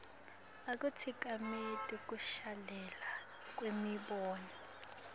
akatsikameti kushelela kwemibono